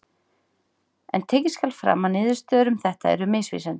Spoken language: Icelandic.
en tekið skal fram að niðurstöður um þetta eru misvísandi